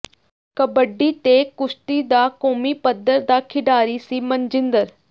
ਕਬੱਡੀ ਤੇ ਕੁਸ਼ਤੀ ਦਾ ਕੌਮੀ ਪੱਧਰ ਦਾ ਖਿਡਾਰੀ ਸੀ ਮਨਜਿੰਦਰ